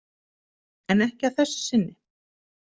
En ekki að þessu sinni.